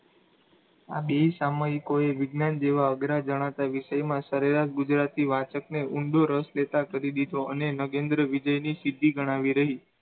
આ બેય સામયિકોએ વિજ્ઞાન જેવા અઘરા ગણાતા વિષયમાં સરેરાશ ગુજરાતી વાંચકને ઊંડો રસ લેતા કરી દીધો અને નગેન્દ્ર વિજયની સ્થિતિ ગણાવી રહી.